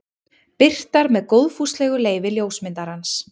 Birtar með góðfúslegu leyfi ljósmyndarans.